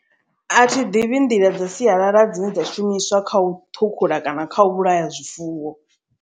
A thi ḓivhi nḓila dza sialala dzine dza shumiswa kha u ṱhukhula kana kha u vhulaya zwifuwo.